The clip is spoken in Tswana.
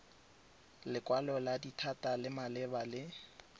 lekwalo la dithata malebana le